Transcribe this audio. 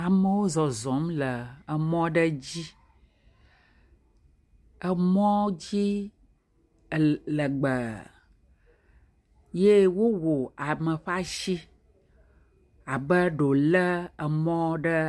Amewo zɔzɔm le emɔ aɖe dzi. Emɔdzi legbee ye wowɔ ame ƒe asi abe ɖe wòlé emɔ ɖe ee…